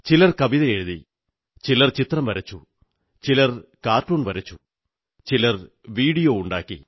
ചിലർ കവിതയെഴുതി ചിലർ ചിത്രം വരച്ചു ചിലർ കാർട്ടൂൺ വരച്ചു ചിലർ വീഡിയോ ഉണ്ടാക്കി